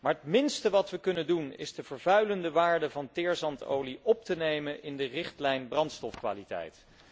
Maar het minste wat we kunnen doen, is de vervuilende waarde van teerzandolie op te nemen in de richtlijn brandstofkwaliteit.